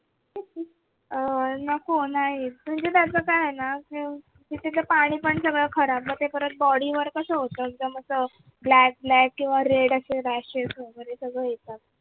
अह नको नाही म्हणजे त्याच काय आहे न तर तिथलं पाणी पण सगळं खराब मग परत ते body वर कस होत एकदम असं black black किंवा red अशे rashes होतात